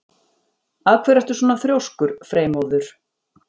Af hverju ertu svona þrjóskur, Freymóður?